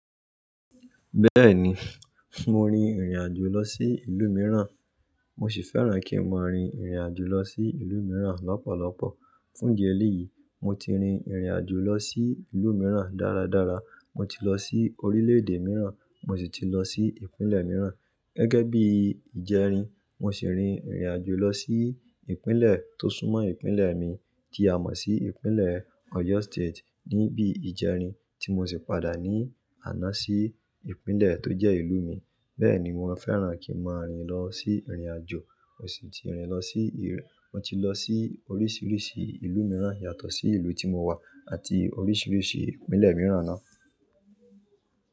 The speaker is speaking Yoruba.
Bẹ́ẹ̀ni, mo rin ìrìnàjò lọ sí ìlú mìíràn, mo sì fẹ́ràn kí n máa rin ìrìnàjò lọ sí ìlú mìíràn lọ́pọ̀lọpọ̀. Fún idi eleyí, mo ti rin ìrìnàjò lọ sí ìlú mìíràn dára dára, mo ti lọ sí orílẹ̀-èdè mìíràn, mo sì ti lọ sí Ìpínlẹ̀ mìíràn. Gẹ́gẹ́ bí ìjẹ́rin, mo sì rin ìrìnàjò lọ sí ìpínlẹ̀ tó súnmọ́ ìpínlẹ̀ mi, tí a mọ̀ sí ìpínlẹ̀ Oyo State ní bí ìjẹ́rin, tí mo sì padà ní àná sí ìpínlẹ̀ tó jẹ́ ìlú mi. Bẹ́ẹ̀ ni mo fẹ́ràn kí n máa rin lọ sí ìrìnàjò, mo sì ti rin lọ sí-- mo ti lọ sí oríṣiríṣi ìlú mìíràn yàtọ̀ sí ìlú tí mo wà àti oríṣiríṣi ìpínlẹ̀ mìíràn náà.